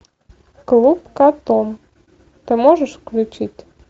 клуб коттон ты можешь включить